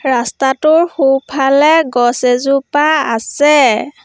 ৰাস্তাটোৰ সোঁফালে গছ এজোপা আছে।